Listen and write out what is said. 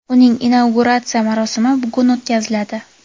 uning inauguratsiya marosimi bugun o‘tkaziladi.